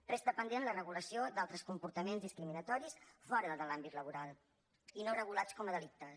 resta pendent la regulació d’altres comportaments discriminatoris fora de l’àmbit laboral i no regulats com a delictes